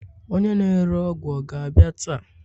onye na-ere ọgwụ ọ ga-abịa taa?